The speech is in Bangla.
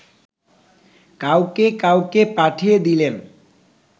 কাউকে কাউকে পাঠিয়ে দিলেন